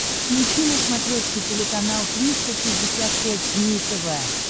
включи на смотрешке телеканал триста шестьдесят пять дней тв